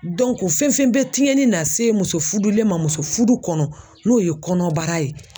fɛn fɛn bɛ tiɲɛni na se muso fudu le ma muso fudu kɔnɔ n'o ye kɔnɔbara ye.